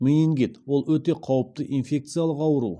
менингит ол өте қауіпті инфекциялық ауру